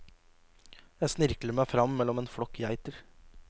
Jeg snirkler meg fram mellom en flokk geiter.